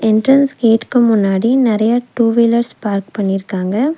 Entrance கேட்டுக்கு முன்னாடி நிறைய டூவீலர்ஸ் பார்க் பண்ணிருக்காங்க.